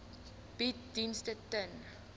bied dienste ten